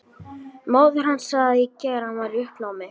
Móðir hans sagði í gær að hann væri í uppnámi.